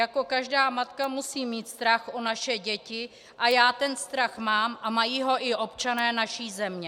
Jako každá matka musím mít strach o naše děti a já ten strach mám a mají ho i občané naší země.